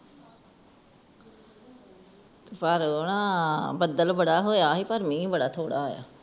ਪਰ ਉਹ ਨਾ ਬਦਲ ਬੜਾ ਹੋਇਆ ਸੀ ਮੀਂਹ ਬੜਾ ਥੋੜਾ ਹੋਇਆ ਸੀ